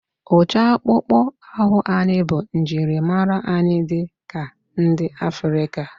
Ụcha akpụkpọ ahụ anyị bụ njirimara anyị dị ka ndị Afrịka